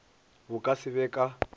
bo ka se be ka